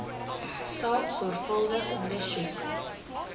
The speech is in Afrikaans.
saak sorgvuldig ondersoek